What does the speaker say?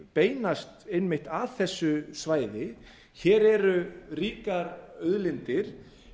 beinast einmitt að þessu svæði hér eru ríkar auðlindir